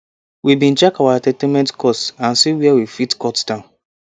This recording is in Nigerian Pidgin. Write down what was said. we been check our entertainment cost and see where we fit cut down